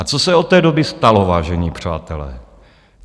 A co se od té doby stalo, vážení přátelé?